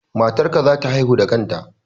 Matar ka za ta haihu da kanta